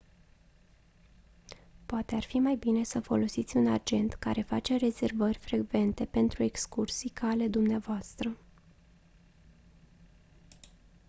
poate ar fi mai bine să folosiți un agent care face rezervări frecvente pentru excursii ca ale dumneavoastră